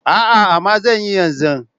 A'a amma zanyi yanzu.